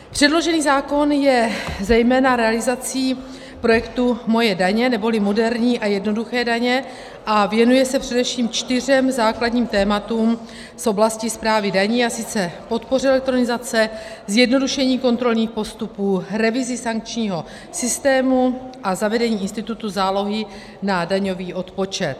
Předložený zákon je zejména realizací projektu Moje daně, neboli moderní a jednoduché daně, a věnuje se především čtyřem základním tématům z oblasti správy daní, a sice podpoře elektronizace, zjednodušení kontrolních postupů, revizi sankčního systému a zavedení institutu zálohy na daňový odpočet.